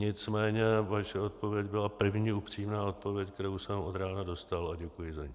Nicméně vaše odpověď byla první upřímná odpověď, kterou jsem od rána dostal, a děkuji za ni.